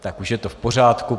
Tak už je to v pořádku.